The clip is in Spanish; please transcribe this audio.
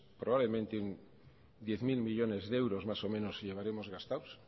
probablemente diez mil millónes de euros más o menos llevaremos gastados